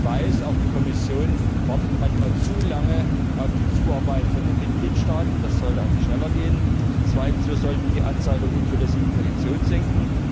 Ich weiß, auch die Kommission wartet manchmal zu lange auf die Zuarbeit von den Mitgliedstaaten, das sollte an sich schneller gehen. Zweitens Wir sollten die Anzahl der unzulässigen Petitionen senken.